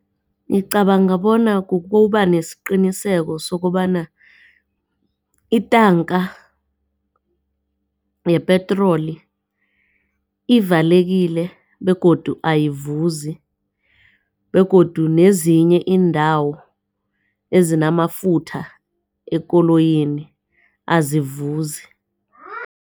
Ngicabanga bona kukuba nesiqiniseko sokobana itanka yepetroli ivalekile begodu ayivuzi begodu nezinye iindawo ezinamafutha ekoloyini azivuzi.